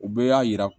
U bɛɛ y'a yira